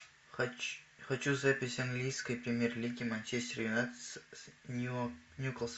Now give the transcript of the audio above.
хочу запись английской премьер лиги манчестер юнайтед с ньюкасл